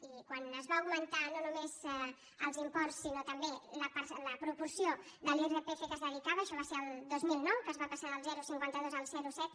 i quan es van augmentar no només els imports sinó també la proporció de l’irpf que s’hi dedicava això va ser el dos mil nou que es va passar del zero coma cinquanta dos al zero coma set